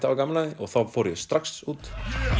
hafa gaman af því þá fór ég strax út